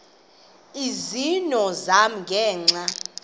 izono zam ngenxa